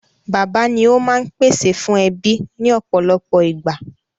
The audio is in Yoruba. Bàbá ni ó máa ń pèsè fún ẹbí ní ọ̀pọ̀lọpọ̀ ìgbà.